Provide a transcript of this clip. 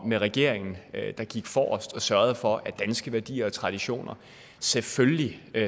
med regeringen gik forrest og sørgede for at danske værdier og traditioner selvfølgelig